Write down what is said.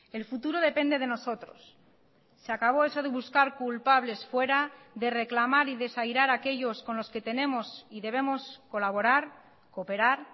el futuro depende de nosotros se acabó eso de buscar culpables fuera de reclamar y desairar aquellos con los que tenemos y debemos colaborar cooperar